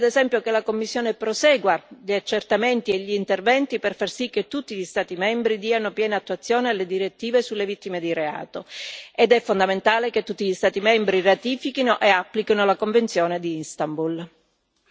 È necessario, ad esempio, che la Commissione prosegua gli accertamenti e gli interventi per far sì che tutti gli Stati membri diano piena attuazione alle direttive sulle vittime di reato ed è fondamentale che tutti gli Stati membri ratifichino e applichino la convenzione di Istanbul.